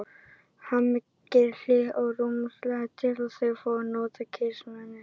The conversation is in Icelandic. Hemmi gerir hlé á róðrinum til að þau fái notið kyrrðarinnar.